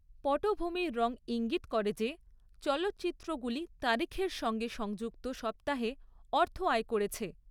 পটভূমির রং ঈঙ্গিত করে যে চলচ্চিত্রগুলি তারিখের সঙ্গে সংযুক্ত সপ্তাহে অর্থ আয় করেছে।